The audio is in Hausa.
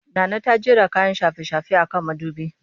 Nana ta jera kayan shafe-shafe a kan mudubi